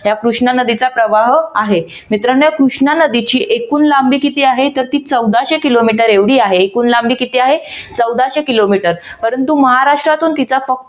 असा कृष्णा नदीचा प्रवाह आहे तर मित्रांनो कृष्णा नदीची एकूण लांबी किती आहे, तर चौदाशे किलोमीटर एवढी आहे एकूण लांबी किती आहे? तर चौदाशे किलोमीटर परंतु महाराष्ट्रातून तिचा फक्त